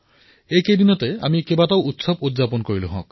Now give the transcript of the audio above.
বিগত দিনকেইটাত আমি সকলোৱে বহু উৎসৱ পালন কৰিলো